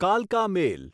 કાલકા મેલ